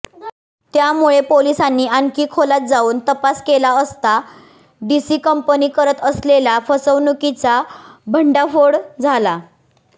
त्यामुळे पोलिसांनी आणखी खोलात जाऊन तपास केला असता डीसी कंपनी करत असलेला फसवणुकीचा भंडाफोड झाला